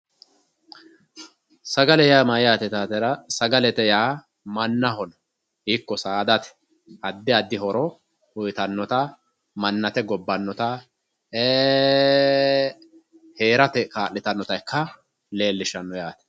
Sagale yaa mayate yittatera sagalete yaa mannaho ikko saadate addi addi horo uyittanotta manninate gobbanotta e"ee heerate kaa'littanotta ikka leellishano yaate.